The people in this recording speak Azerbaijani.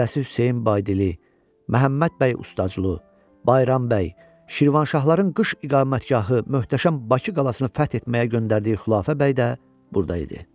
Lələsi Hüseyn Baydili, Məhəmməd bəy Ustaclu, Bayram bəy, Şirvanşahların qış iqamətgahı möhtəşəm Bakı qalasını fəth etməyə göndərdiyi Xülafə bəy də burda idi.